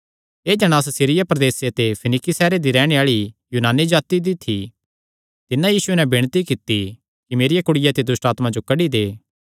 एह़ जणांस सीरिया प्रदेसे दे फिनीकी सैहरे दी रैहणे आल़ी यूनानी जाति दी थी तिन्नै यीशुये नैं विणती कित्ती कि मेरिया कुड़िया ते दुष्टआत्मां जो कड्डी दे